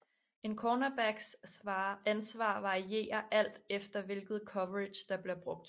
En cornerbacks ansvar varierer alt efter hvilket coverage der bliver brugt